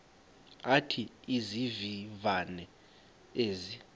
athi izivivane ezi